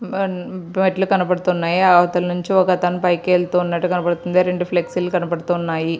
బన్-మెట్లు కనబడుతున్నాయి. అవతలి నుంచి ఒకతను పైకి వెళ్తున్నట్టు కనబడుతుంది. ఆ రెండు ఫ్లెక్షి లు కనబడుతున్నాయి.